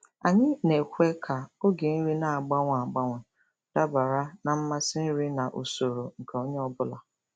Anyị na-ekwe ka oge nri na-agbanwe agbanwe dabara na mmasị nri na usoro nke onye ọ bụla.